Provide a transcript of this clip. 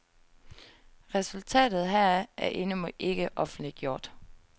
Resultatet heraf er endnu ikke offentliggjort.